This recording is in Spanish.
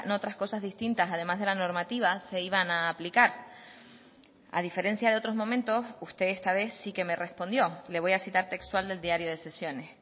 otras cosas distintas además de la normativa se iban a aplicar a diferencia de otros momentos usted esta vez sí que me respondió le voy a citar textual del diario de sesiones